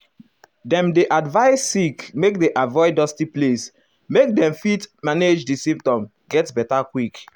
dem dey advise sick make dem avoid dusty place make dem fit manage di symptoms get beta quick.